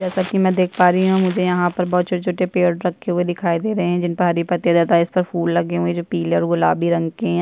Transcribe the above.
जैसा की मै देख पा रही हूँ मुझे यहाँ पर बहोत छोट-छोटे पेड़ रखे हुए दिखाई दे रहे है जिन पर हरे पत्ते ज्यादा है इस पर फूल लगे हुए है जो पिले और गुलाबी रंग के है।